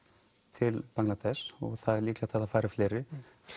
til Bangladesh og það er líklegt að það fari fleiri